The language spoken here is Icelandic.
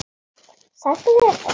Sætt af þér að koma.